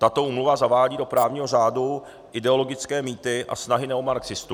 Tato úmluva zavádí do právního řádu ideologické mýty a snahy neomarxistů.